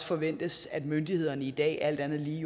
forventes at myndighederne i dag alt andet lige